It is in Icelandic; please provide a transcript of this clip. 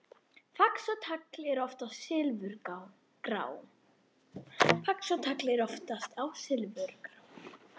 Fax og tagl eru oftast silfurgrá.